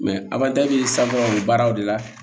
sanfɛ baaraw de la